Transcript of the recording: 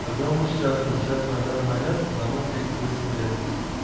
одному сейчас вот сейчас на данный момент одному тридцать восемь лет будет